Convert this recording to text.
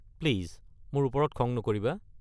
Please মোৰ ওপৰত খং নকৰিবা।